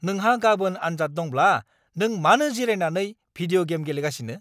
नोंहा गाबोन आनजाद दंब्ला नों मानो जिरायनानै भिदिय'गेम गेलेगासिनो?